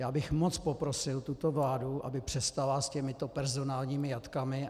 Já bych moc poprosil tuto vládu, aby přestala s těmito personálními jatkami.